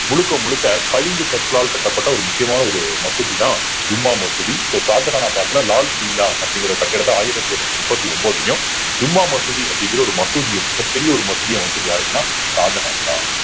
முழுக்க முழுக்க பளிங்கு கற்களால் கட்டப்பட்ட ஒரு முக்கியமான ஒரு மசூதிதான் ஜும்மா மசூதி so ஷாஜஹானைப் பத்தின லால் குயிலா அப்படிங்கிற கட்டிடத்தை ஆயிரத்தி இருநூத்தி முப்பத்தி ஒன்பதுலயும் ஜூம்மா மசூதி அப்படிங்கிற ஒரு மசூதியும் மிகப்பெரிய ஒரு மசூதியும் அமைச்சது யாரு அப்படின்னா ஷாஜகான்தான்